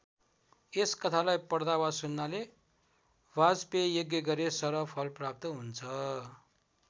यस कथालाई पढ्दा वा सुन्नाले वाजपेय यज्ञ गरे सरह फल प्राप्त हुन्छ।